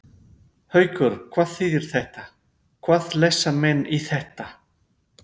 Haukur: Hvað þýðir þetta, hvað lesa menn í þetta?